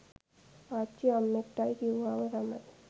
ආච්චි අම්මෙක්ටයි කිව්වාම තමයි